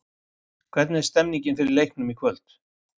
Hvernig er stemningin fyrir leiknum í kvöld?